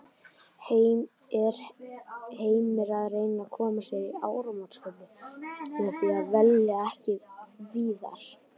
Er Heimir að reyna að koma sér í áramótaskaupið með því að velja ekki Viðar?